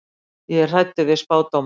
Ég er hræddur við spádóma.